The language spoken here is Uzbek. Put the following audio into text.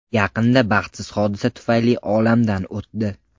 Yaqinda baxtsiz hodisa tufayli olamdan o‘tdi.